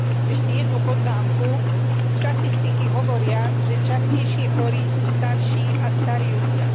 Ešte jednu poznámku štatistiky hovoria, že častejšie chorí sú starší a starí ľudia.